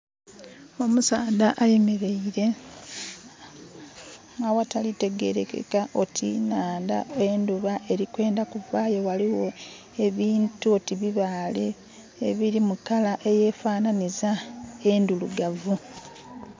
Omusaadha ayemeleire aghatali kutegerekeka oti nhandha. Endhuba erikwendha ku vaayo, ghaligho ebintu oti bibaale ebiri mu kala eyefananhiza endhirugavu.